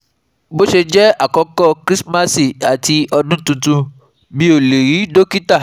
bo se je àkókò Krismasi àti odun tuntun mi o le ri dokita